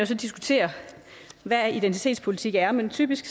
så diskutere hvad identitetspolitik er men typisk